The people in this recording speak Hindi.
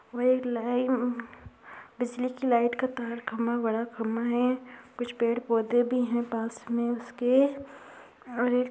वह एक बिजली की लाइट का तार खंभा बड़ा खंभा है। कुछ पेड़ - पौधे भी हैं पास में उसके और एक --